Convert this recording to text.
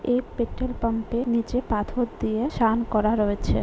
এই petrol pump -এর নীচে পাথর দিয়ে শান করা রয়েছে।